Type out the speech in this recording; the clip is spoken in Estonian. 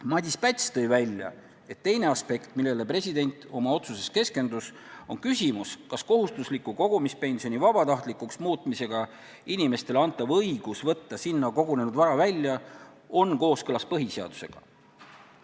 Madis Päts tõi välja, et teine aspekt, millele president oma otsuses keskendus, on küsimus, kas kohustusliku kogumispensioni vabatahtlikuks muutmisega inimestele antav õigus võtta sinna kogunenud vara välja, on kooskõlas põhiseadusega.